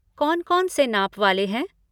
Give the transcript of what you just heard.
कौन कौन से नाप वाले हैं?